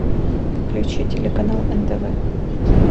включи телеканал нтв